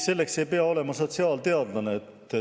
Selleks ei pea olema sotsiaalteadlane.